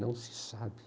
Não se sabe.